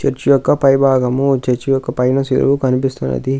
Church యొక్క పై భాగము చర్చి యొక్క పైన శిలువ కనిపిస్తున్నది.